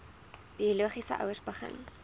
biologiese ouers begin